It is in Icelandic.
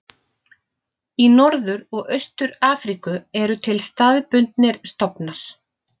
Í Norður og Austur-Afríku eru til staðbundnir stofnar.